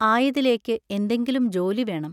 ആയതിലേക്ക് എന്തെങ്കിലും ജോലി വേണം.